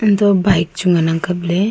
antoh bike chu ngan ang kaple.